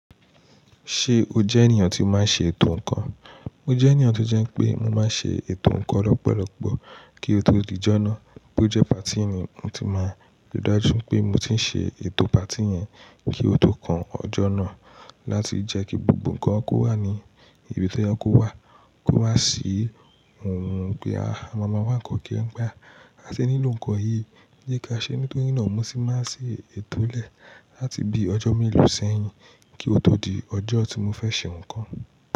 Ṣé o jẹ́ ènìyàn tí máa ń ṣe ètò ǹkan? Mo jẹ́ ènìyàn tó jẹ́ pé mo máa ń ṣe ètò ǹkan lọ́pọ̀lọpọ̀ kí ó tó di jọ̀ná. Bí ó jẹ́ patí ni mo ti máa ríi dájú pé mo ti ń ṣe ètò patí yẹn kí ó tó kan ọjọ́ náà láti jẹ́ kí gbogbo ǹkan kó wà ní ibi tó yẹ kó wà, kó wá sí nkan pé à ma wa nkàn kiri, a sì nílò ǹkan yí jeka sẹ́ nítorí mo ti máa ń ṣe ètò lẹ̀ láti bí ọjọ́ mélòó sẹ́yìn kí ó tó di ọjọ́ tí mo fẹ́ ṣe ǹkan.